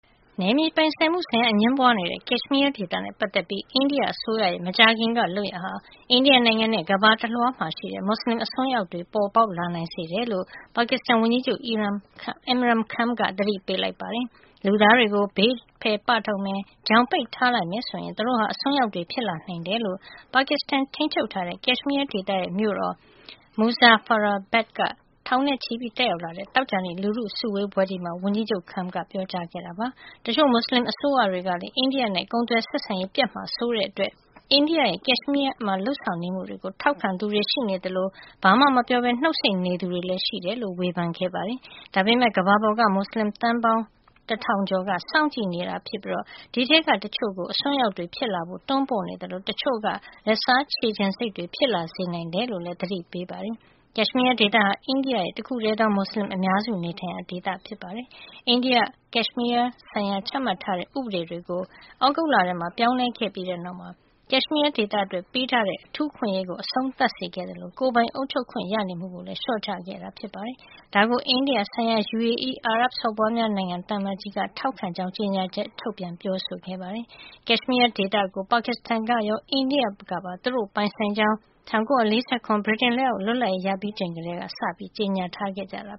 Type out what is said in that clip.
နယ်မြေပိုင်ဆိုင်မှု အငြင်းပွါးနေတဲ့ ကက်ရှ်မီးယားဒေသနဲ့ ပတ်သက်ပြီး အိန္ဒိယအစိုးရရဲ့ မကြာခင်က လုပ်ရပ်ဟာ အိန္ဒိယနိုင်ငံနဲ့ ကမ္ဘာတလွှား မှာ မွတ်စလင်အစွန်းရောက် တွေ ပေါ်ပေါက်လာစေနိုင်တယ်လို့ ပါကစ္စတန်ဝန်ကြီးချုပ် Imran Khan က သတိပေးလိုက်ပါတယ်။ လူသားတွေကို ဘေးဖယ် ပထုတ်မယ်၊ ချောင်ပိတ်ထားလိုက်မယ်ဆိုရင် သူတို့ဟာ အစွန်းရောက်တွေ ဖြစ်လာနိုင်တယ်လို့ ပါကစ္စတန်ထိန်းချုပ်ထားတဲ့ ကက်ရှ်မီးယားဒေသရဲ့ မြို့တော် Muzaffarabad က ထောင်နဲ့ချီတက်ရောက်လာတဲ့ သောကြာနေ့ လူထုစုဝေးပွဲမှာ ဝန်ကြီးချုပ် Kham ကပြောပါတယ်။ တချို့မွတ်စလင်အစိုးရတွေကလည်း အိန္ဒိယနဲ့ ကုန်သွယ်ဆက်ဆံရေးပျက်မှာ စိုးတဲ့အတွက် အိန္ဒိယရဲ့ ကက်ရှ်မီးယားမှာ လုပ်ဆောင် နေမှုတွေကို ထောက်ခံသူတွေ ရှိနေသလို ဘာမှဝင်မပြောပဲ နှုတ်ဆိတ်နေသူတွေလည်း ရှိတယ်လို့ ဝေဖန်ခဲ့ပါတယ်။ ဒါပေမယ့် ကမ္ဘာပေါ်က မွတ်စလင် သန်းပေါင်းတထောင်ကျော်က စောင့်ကြည့်နေတာ ဖြစ်ပြီး အဲဒီထဲက တချို့ကို အစွန်းရောက်တွေ ဖြစ်လာဖို့ တွန်းပို့နေသလို တချို့က လက်စားခြေချင်စိတ်တွေ ဖြစ်လာစေနိုင်တယ်လို့လည်း သတိပေးပါတယ်။ကက်ရှ်မီးယား ဒေသဟာ အိန္ဒိယရဲ့ တခုတည်းသော မူစလင်အများစုနေထိုင်တဲ့ ဒေသ ဖြစ်ပါတယ်။ အိန္ဒိယက ကက်ရှ်မီးယားဆိုင်ရာ ချမှတ်ထားတဲ့ ဥပဒေတွေကို သြဂုတ်လထဲမှာ ပြောင်းလဲခဲ့ပြီး ကက်ရှ်မီးယားဒေသအတွက် ပေးထားတဲ့ အထူးအခွင့်အရေးကို အဆုံးသတ်စေခဲ့သလို ကိုယ်ပိုင်အုပ်ချုပ်ခွင့်ရနေမှုကိုလည်း လျှော့ချခဲ့တာပါ။ ဒါကို အိန္ဒိယဆိုင်ရာ UAE အာရပ်စော်ဘွားများနိုင်ငံ သံအမတ်ကြီးက ထောက်ခံကြောင်း ကြေညာချက် ထုတ်ပြန်ပြောဆို ခဲ့ပါတယ်။ ကက်ရှ်မီးယားဒေသကို ပါကစ္စတန်ကရော အိန္ဒိယကပါ သူတို့ ပိုင်ဆိုင်ကြောင်း ၁၉၄၇ ဗြိတိန်လက်အောက်က လွတ်လပ်ရေး ရပြီးချိန် ကတည်းက ကြေညာခဲ့ကြတာ